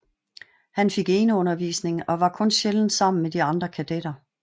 Han fik eneundervisning og var kun sjældent sammen med de andre kadetter